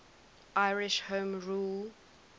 irish home rule